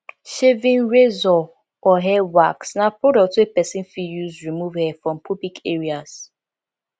shaving razor or hair wax na product wey persin fit use remove hair from pubic areas